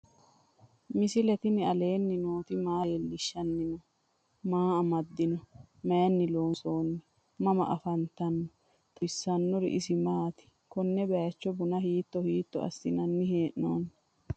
misile tini alenni nooti maa leelishanni noo? maa amadinno? Maayinni loonisoonni? mama affanttanno? xawisanori isi maati? konne bayiicho bunna hiitto hiitto asinanni hee'noonni?